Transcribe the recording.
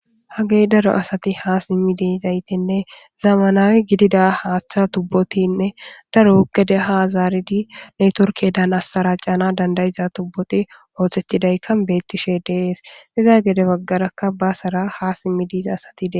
hagey daro asati haa simmi dezaytinne zamanawi gidida haaththa tubbotinne daro gede haazaaridi netorkedaan assaracana dandayiza tubboti oothettidaykka beettishe dees iza gede baggarakka baasara ha simmi diiza asati dee